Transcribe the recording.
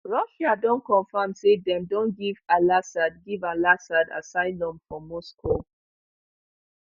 russia don confirm say dem don give alassad give alassad assylum for moscow